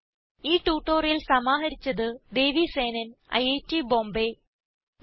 ഈ ട്യൂട്ടോറിയൽ സമാഹരിച്ചത് ദേവി സേനൻ ഐറ്റ് ബോംബേ നന്ദി